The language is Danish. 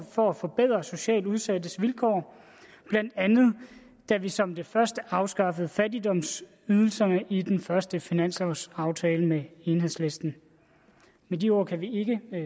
for at forbedre socialt udsattes vilkår blandt andet da vi som det første afskaffede fattigdomsydelserne i den første finanslovsaftale med enhedslisten med de ord kan vi ikke